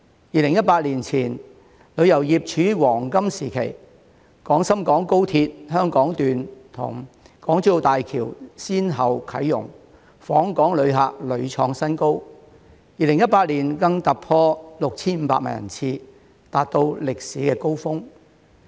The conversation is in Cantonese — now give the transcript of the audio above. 2018年前，旅遊業處於黃金時期，廣深港高鐵香港段與港珠澳大橋先後啟用，訪港旅客屢創新高 ，2018 年更突破 6,500 萬人次，達到歷史高峰。